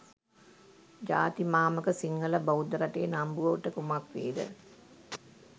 ජාතිමාමක සිංහල බෞද්ධ රටේ නම්බුවට කුමක් වේද?